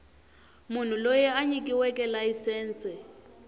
munhu loyi a nyikiweke layisense